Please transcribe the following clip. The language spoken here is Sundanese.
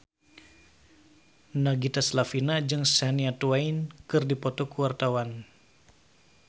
Nagita Slavina jeung Shania Twain keur dipoto ku wartawan